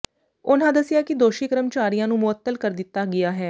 ਉਨ੍ਹਾਂ ਦੱਸਿਆ ਕਿ ਦੋਸ਼ੀ ਕਰਮਚਾਰੀਆਂ ਨੂੰ ਮੁਅੱਤਲ ਕਰ ਦਿੱਤਾ ਗਿਆ ਹੈ